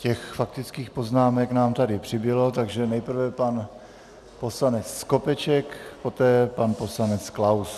Těch faktických poznámek nám tady přibylo, takže nejprve pan poslanec Skopeček, poté pan poslanec Klaus.